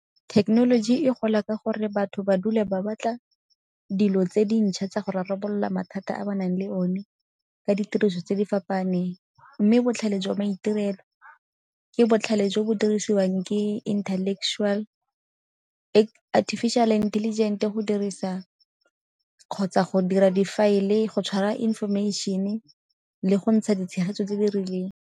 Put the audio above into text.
Thekenoloji e gola ka gore batho ba dula ba batla dilo tse dintšha tsa go rarabolola mathata a ba nang le one ka ditiriso tse di fapaganeng. Mme botlhale jwa maitirelo ke botlhale jwa jo bo dirisiwang ke artificial intelligent go dirisa kgotsa go dira difaele, go tshwara information-e le go ntsha ditshegetso tse di rileng.